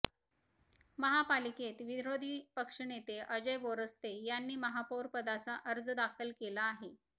महापालिकेत विरोधी पक्षनेते अजय बोरस्ते यांनी महापौरपदाचा अर्ज दाखल केला आहे